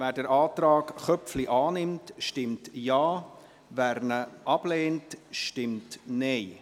Wer den Antrag Köpfli annimmt, stimmt Ja, wer ihn ablehnt, stimmt Nein.